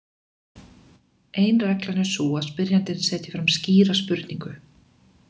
Ein reglan er sú að spyrjandinn setji fram skýra spurningu.